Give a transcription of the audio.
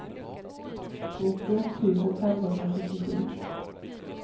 nittioett tusen femhundrasjuttiosju